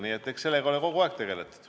Nii et eks sellega ole kogu aeg tegeletud.